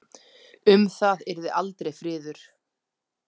Um það yrði aldrei friður!